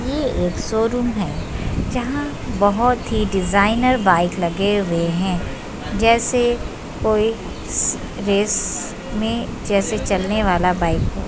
ये एक शोरूम है। जहां बहोत डिजाइनर बाइक लगे हुए हैं जैसे कोई रेस में जैसे चलने वाला बाइक हो।